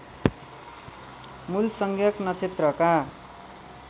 मूल संज्ञक नक्षत्रका